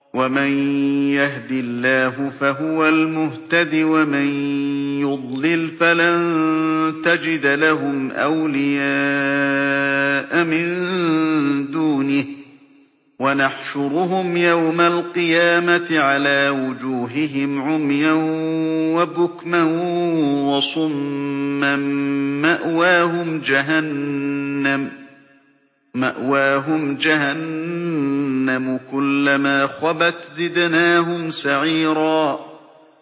وَمَن يَهْدِ اللَّهُ فَهُوَ الْمُهْتَدِ ۖ وَمَن يُضْلِلْ فَلَن تَجِدَ لَهُمْ أَوْلِيَاءَ مِن دُونِهِ ۖ وَنَحْشُرُهُمْ يَوْمَ الْقِيَامَةِ عَلَىٰ وُجُوهِهِمْ عُمْيًا وَبُكْمًا وَصُمًّا ۖ مَّأْوَاهُمْ جَهَنَّمُ ۖ كُلَّمَا خَبَتْ زِدْنَاهُمْ سَعِيرًا